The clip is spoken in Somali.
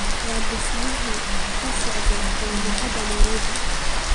waxaa dhisme ka socda jaamacada nairobi